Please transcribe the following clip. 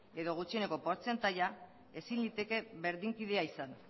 edo gutxieneko portzentaia ezin liteke berdinkidea izan